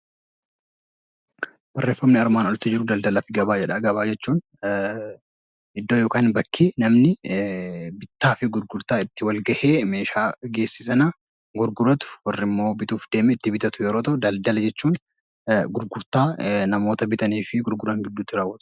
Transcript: Gabaa jechuun iddoo itti namni bittaa fi gurgurtaa meeshaa wal gahee sana gurguratu warri bituuf deeme sunimmoo itti bitatu yeroo ta'u, daldala jechuun gurgurtaa namoota bitanii fi gurguran gidduutti raawwatudha